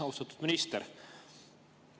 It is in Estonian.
Austatud minister!